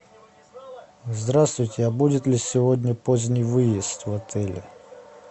здравствуйте а будет ли сегодня поздний выезд в отеле